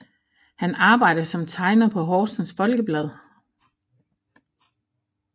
Han arbejder som tegner på Horsens Folkeblad